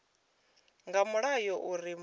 nga mulayo uri muraḓo a